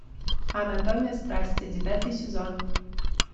анатомия страсти девятый сезон